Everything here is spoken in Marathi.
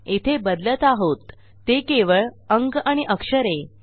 येथे बदलत आहेत ते केवळ अंक आणि अक्षरे